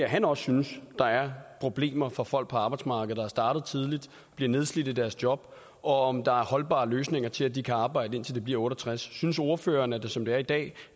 han også synes der er problemer for folk på arbejdsmarkedet der er startet tidligt bliver nedslidt i deres job og om der er holdbare løsninger til at de kan arbejde indtil de bliver otte og tres synes ordføreren at der som det er i dag